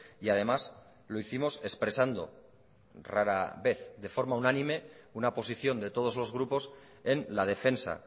y además lo hicimos expresando rara vez de forma unánime una posición de todos los grupos en la defensa